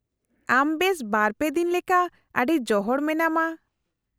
-ᱟᱢ ᱵᱮᱥ ᱵᱟᱨ ᱯᱮ ᱫᱤᱱ ᱞᱮᱠᱟ ᱟᱰᱤ ᱡᱚᱦᱚᱲ ᱢᱮᱱᱟᱢᱟ ᱾